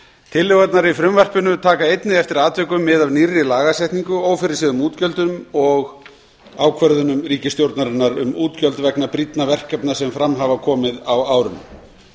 tillögurnar í frumvarpinu taka einnig eftir atvikum mið af nýrri lagasetningu ófyrirséðum útgjöldum og ákvörðunum ríkisstjórnarinnar um útgjöld vegna brýnna verkefna sem fram hafa komið á árinu